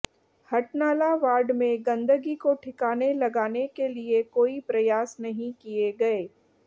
Hatnala ward में गंदगी को ठिकाने लगाने के लिए कोई प्रयास नहीं किए गए